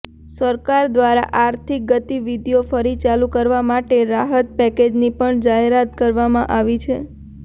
સરકાર દ્વારા આર્થિક ગતિવિધિઓ ફરી ચાલુ કરવા માટે રાહત પેકેજની પણ જાહેરાત કરવામાં આવી છે